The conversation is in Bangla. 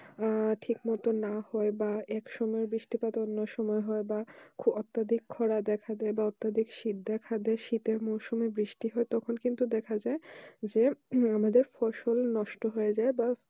আহ ঠিক মতো না হলে বা একসঙ্গে বৃষ্টি পাত অন্য সময় হয় বা অত্যধিক খরা দেখা দেয় বা অত্যধিক শীত দেখা দেয় শীতের মৌসুমে বৃষ্টি হতে তখন কিন্তু দেখা যায় যে আমাদের ফসল নষ্ট হয়ে যায় বা